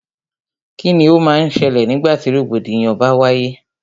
Kíni o má n ṣẹlẹ̀ nígbà tí rògbòdìyàn bá wáyé?